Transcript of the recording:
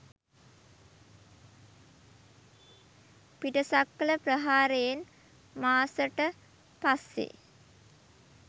පිටසක්වල ප්‍රහාරෙයන් මාස ට පස්සේ